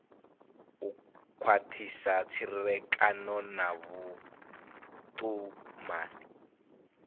u khwathisa tserekano na vhutumani